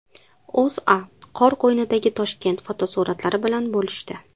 O‘zA qor qo‘ynidagi Toshkent fotosuratlari bilan bo‘lishdi .